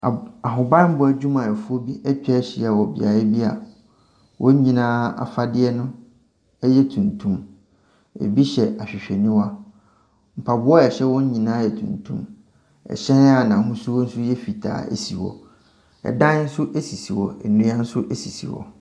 Ab…ahobammɔ adwumayɛfoɔ bi atwa ahyia wɔ beaeɛ bi a wɔn nyinaa afadeɛ no yɛ tuntum. Ɛbi hyɛ ahwehwɛniwa. Mpaboa a ɛhyɛ wɔn nyinaa yɛ tuntum. Ɛhyɛn a n'ɛhosuo nso yɛ fitaa si hɔ. Ɛdan nso sisi hɔ, nnua nso sisi hɔ.